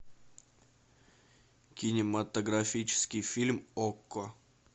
кинематографический фильм окко